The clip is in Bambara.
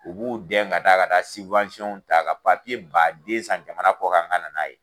U b'u dɛn ka taa ka taa ta ka papiye ba den san jamana kɔ kan ka nan'a ye.